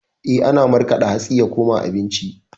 Eh, ana markaɗa hatsi ya koma abinci.